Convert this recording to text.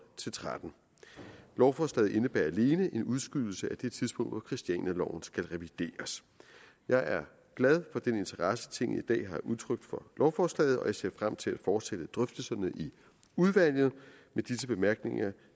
til tretten lovforslaget indebærer alene en udskydelse af det tidspunkt hvor christianialoven skal revideres jeg er glad for den interesse tinget i dag har udtrykt for lovforslaget og jeg ser frem til at fortsætte drøftelserne i udvalget med disse bemærkninger